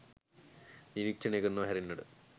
නිරීක්ෂණය කරනවා හැරෙන්නට